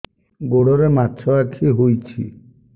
ଗୋଡ଼ରେ ମାଛଆଖି ହୋଇଛି